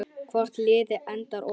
Hvort liðið endar ofar?